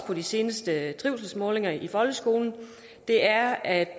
på de seneste trivselsmålinger i folkeskolen er at